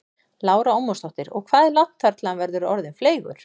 Lára Ómarsdóttir: Og hvað er langt þar til hann verður orðinn fleygur?